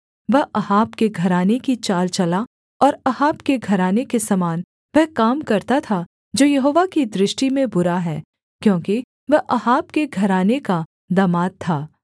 वह अहाब के घराने की चाल चला और अहाब के घराने के समान वह काम करता था जो यहोवा की दृष्टि में बुरा है क्योंकि वह अहाब के घराने का दामाद था